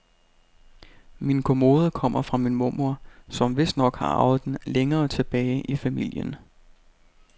Min kommode kommer fra min mormor, som vistnok har arvet den længere tilbage i familien.